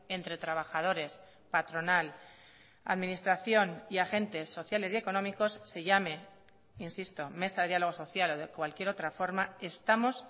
entre trabajadores patronal administración y agentes sociales y económicos se llame insisto mesa de diálogo social o de cualquier otra forma estamos